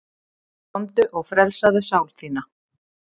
Komdu og frelsaðu sál þína.